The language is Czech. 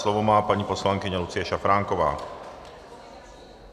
Slovo má paní poslankyně Lucie Šafránková.